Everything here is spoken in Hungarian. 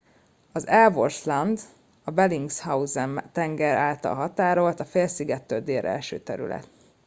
az ellsworth land a bellingshausen tenger által határolt a félszigettől délre eső terület